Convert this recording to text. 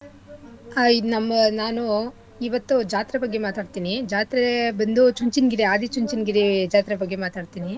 ಆಯ್ ಇದ್ ನಮ್ಮ ನಾನು ಇವತ್ತು ಜಾತ್ರೆ ಬಗ್ಗೆ ಮಾತಾಡ್ತಿನಿ ಜಾತ್ರೆ ಬಂದು ಚುಂಚನಗಿರಿ ಆದಿ ಚುಂಚನಗಿರಿ ಜಾತ್ರೆ ಬಗ್ಗೆ ಮಾತಾಡ್ತಿನಿ